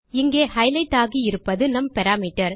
இங்கே ஹைலைட் ஆகி இருப்பது நம் பாராமீட்டர்